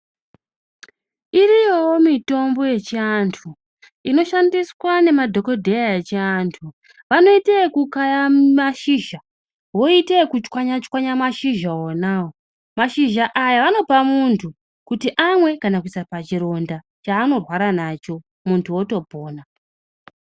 Iriyowo mitombo yechianthu inoshandiswa ngemadhokodheya echianthu vanoite ekukaya mashizha kana voite ekuchwanya chwanya mashuzha onawo mashizha aya vanopa munthu kuti amwe kana kuisa pachironda chaanorwara nacho munthu otopona.